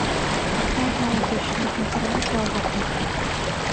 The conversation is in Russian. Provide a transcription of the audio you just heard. можно уточнить информацию о заказе